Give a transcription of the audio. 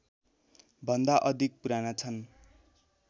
भन्दा अधिक पुराना छन्